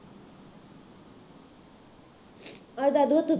ਦਾਦੂ ਹੱਥ